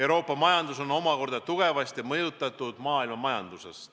Euroopa majandust mõjutab omakorda tugevasti maailmamajandus.